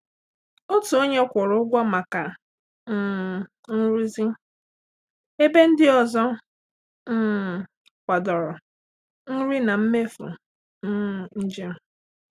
Otu onye kwụrụ ụgwọ maka um nrụzi ebe ndị ọzọ um kwadọrọ nri na mmefu um njem.